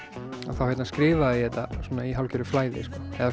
þá skrifaði ég þetta í hálfgerðu flæði